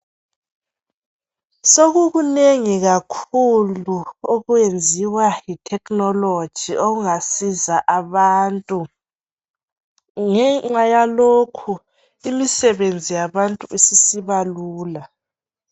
Sokukunengi kakhulu okwenziwa yithekhinoloji okungasiza abantu ngenxa yalokhu imisebenzi yabantu isisiba lula.